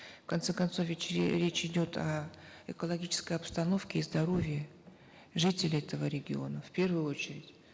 в конце концов ведь речь идет о экологической обстановке и здоровье жителей этого региона в первую очередь